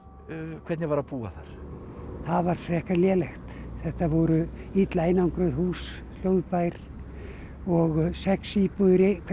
hvernig var að búa þar það var frekar lélegt þetta voru illa einangruð hús hljóðbær og sex íbúðir í hverri